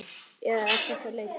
Eða er þetta leti?